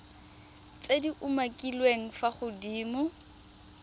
tse di umakiliweng fa godimo